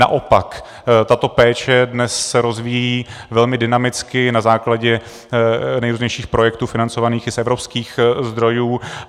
Naopak, tato péče dnes se rozvíjí velmi dynamicky na základě nejrůznějších projektů financovaných i z evropských zdrojů.